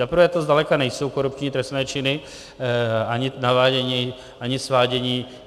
Zaprvé to zdaleka nejsou korupční trestné činy, ani navádění, ani svádění.